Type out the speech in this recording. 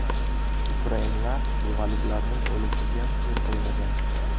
Ukrainlar xivaliklarning o‘lishiga yo‘l qo‘ymagan.